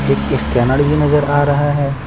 एक स्कैनर भी नजर आ रहा है।